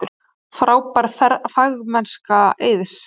Frábær fagmennska Eiðs